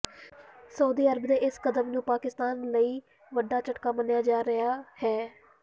Saudi Arab ਦੇ ਇਸ ਕਦਮ ਨੂੰ ਪਾਕਿਸਤਾਨ ਲਈ ਵੱਡਾ ਝਟਕਾ ਮੰਨਿਆ ਜਾ ਰਿਹਾ ਹੈ